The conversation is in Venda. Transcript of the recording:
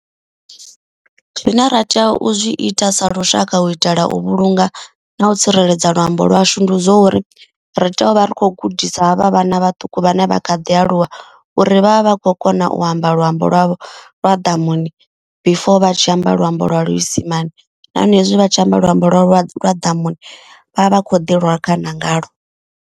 Zwine ra tea u zwi ita sa lushaka u itela u vhulunga na u tsireledza luambo lwashu. Ndi zwo uri ri tea uvha ri kho gudisa havha vhana vhaṱuku vhane vha kha ḓi aluwa. Uri vhavha vha khou kona u amba luambo lwavho lwa ḓamuni before vha tshi amba luambo lwa luisimani. Nahone hezwi vhatshi amba luambo lwa lwa lwa ḓamuni vhavha vha kho ḓi rwa khana nga lwo.